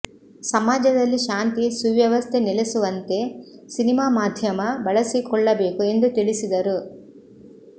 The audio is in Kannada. ಸಮಾಜದಲ್ಲಿ ಶಾಂತಿ ಸುವ್ಯ ವಸ್ಥೆ ನೆಲೆಸುವಂತೆ ಸಿನಿಮಾ ಮಾಧ್ಯಮ ಬಳಸಿಕೊಳ್ಳಬೇಕು ಎಂದು ತಿಳಿಸಿದರು